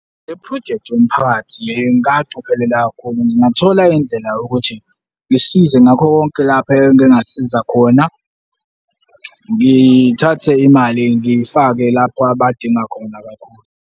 Le phrojekthi yomphakathi ngingacophelela kakhulu, ngingathola indlela yokuthi, ngisize ngakho konke lapho engingasiza khona, ngithathe imali ngifake lapho abadinga khona kakhulu.